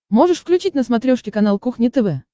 можешь включить на смотрешке канал кухня тв